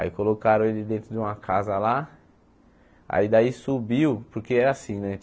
Aí colocaram ele dentro de uma casa lá, aí daí subiu, porque era assim, né?